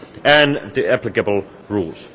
facts and the applicable rules.